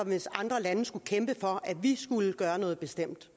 hvis andre lande skulle kæmpe for at vi skulle gøre noget bestemt